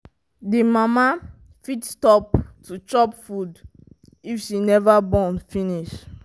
the mama fit stop to chop food if she never born finish